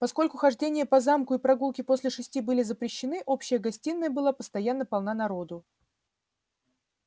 поскольку хождение по замку и прогулки после шести были запрещены общая гостиная была постоянно полна народу